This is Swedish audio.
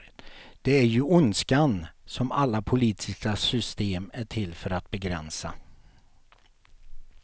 Det är ju ondskan som alla politiska system är till för att begränsa.